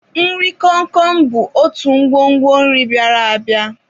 Nri komkom bụ otu ngwongwo nri bịara abịa.